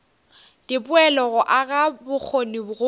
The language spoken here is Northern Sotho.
dipoelo go aga bokgoni go